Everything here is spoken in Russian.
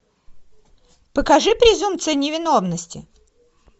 покажи презумпция невиновности